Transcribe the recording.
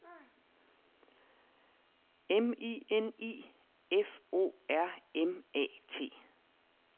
M I N I F O R M A T